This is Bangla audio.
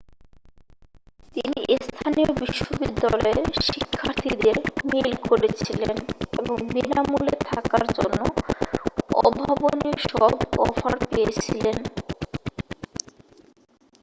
তিনি স্থানীয় বিশ্ববিদ্যালয়ের শিক্ষার্থীদের মেইল করেছিলেন এবং বিনামূল্যে থাকার জন্য অভাবনীয় সব অফার পেয়েছিলেন